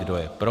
Kdo je pro?